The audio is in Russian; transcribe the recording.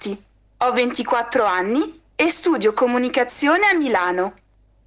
аванти равнти куатро ми студио коммуникации